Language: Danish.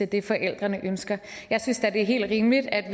det forældrene ønsker jeg synes da det er helt rimeligt at